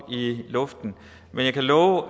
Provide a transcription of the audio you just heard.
luften men jeg kan love